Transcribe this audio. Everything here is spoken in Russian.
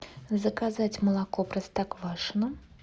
заказать молоко простоквашино